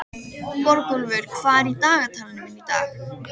Borgúlfur, hvað er í dagatalinu mínu í dag?